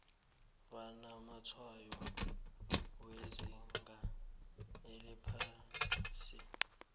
banamatshwayo wezinga eliphasi